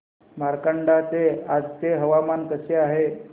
मार्कंडा चे आजचे हवामान कसे आहे